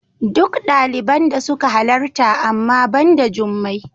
Duk daliban da suka halarta amma ba da Jummai.